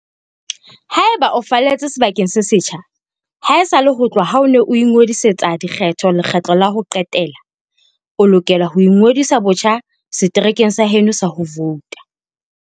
Haeba o falletse sebakeng se setjha haesale ho tloha ha o ne o ingodisetsa dikgetho lekgetlo la ho qetela, o lokela ho ingodisa botjha seterekeng sa heno sa ho vouta.